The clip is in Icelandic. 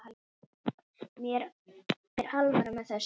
Mér er alvara með þessu.